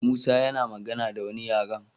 Musa yana magana da wani yaren